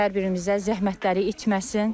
Hər birimizə zəhmətləri itməsin.